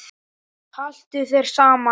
Haltu þér saman